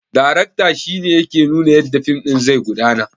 Darakta shine yake nuna yadda fim ɗin zai gudana